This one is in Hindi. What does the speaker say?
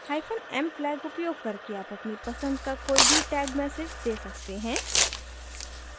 m flag उपयोग करके आप अपनी पसंद का कोई भी tag message दे सकते हैं